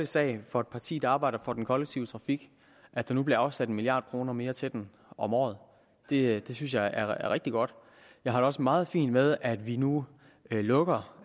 sag for et parti der arbejder for den kollektive trafik at der nu bliver afsat en milliard kroner mere til den om året det synes jeg er rigtig godt jeg har det også meget fint med at vi nu lukker